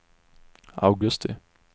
augusti